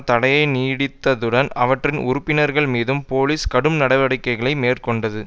தடையை நீடித்ததுடன் அவற்றின் உறுப்பினர்கள் மீதும் போலீஸ் கடும் நடவடிக்கைகளை மேற்கொண்டது